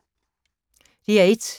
DR1